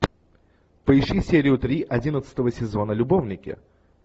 поищи серию три одиннадцатого сезона любовники